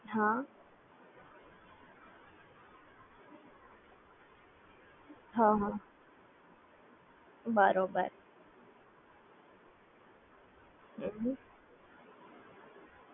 બરોબર